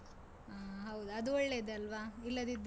ಹಾ ಹೌದಾ, ಅದು ಒಳ್ಳೆದೇ ಅಲ್ವಾ? ಇಲ್ಲದಿದ್ರೆ.